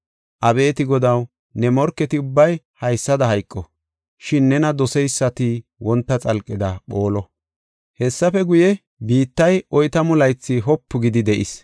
Abeeti Godaw, ne morketi ubbay haysada hayqo; shin nena doseysati wonta xalqeda phoolo. Hessafe guye, biittay oytamu laythi wopu gidi de7is.